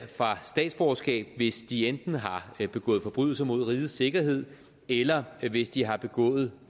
fra statsborgerskab hvis de enten har begået forbrydelser mod rigets sikkerhed eller hvis de har begået